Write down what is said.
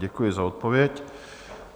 Děkuji za odpověď.